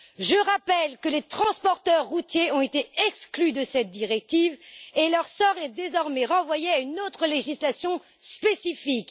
Je rappelle que les transporteurs routiers ont été exclus de cette directive et leur sort est désormais soumis à une autre législation spécifique.